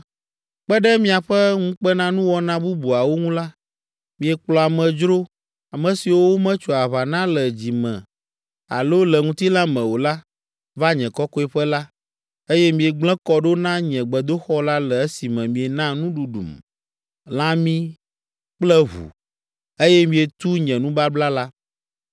Kpe ɖe miaƒe ŋukpenanuwɔna bubuawo ŋu la, miekplɔ amedzro, ame siwo wometso aʋa na le dzi me alo le ŋutilã me o la, va nye kɔkɔeƒe la, eye miegblẽ kɔ ɖo na nye gbedoxɔ la le esime miena nuɖuɖum, lãmi kple ʋu, eye mietu nye nubabla la.